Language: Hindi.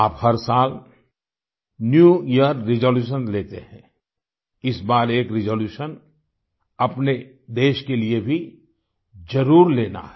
आप हर साल न्यू यियर रिजोल्यूशंस लेते हैं इस बार एक रिजोल्यूशन अपने देश के लिए भी जरुर लेना है